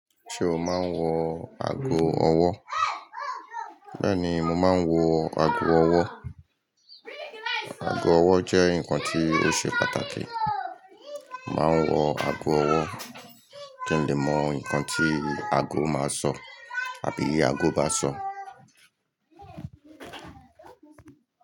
Ṣé o máa ń wo ago ọwọ́? Bẹ́ẹ̀ni, mo máa ń wọ ago ọwọ́. Ago ọwọ́ jẹ́ nǹkan tí ó ṣe pàtàkì. Mo máa ń wo ago ọwọ́ kí n lè mọ nǹkan tí ago máa sọ àbí ago bá sọ.